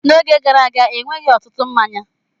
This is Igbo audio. N'oge gara aga, enweghị ọtụtụ mmanya.